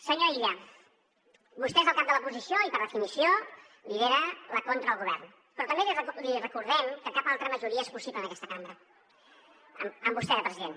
senyor illa vostè és el cap de l’oposició i per definició lidera la contra al govern però també li recordem que cap altra majoria és possible en aquesta cambra amb vostè de president